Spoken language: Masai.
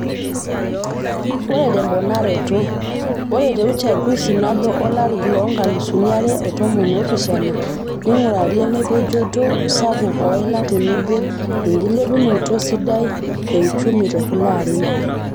Ore temponaroto, ore te uchungusi nabo olari le 2017.neingurari emopojoto sapuk oila tenebo enkilepunoto sidai e uchumi tekulo arin.